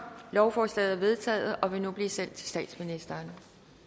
lovforslaget er vedtaget og vil nu blive sendt til statsministeren